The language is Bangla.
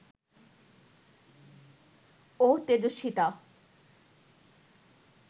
ও তেজস্বিতা